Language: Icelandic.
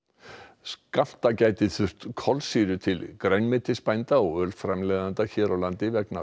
skammta gæti þurft kolsýru til ölframleiðenda grænmetisbænda hér á landi vegna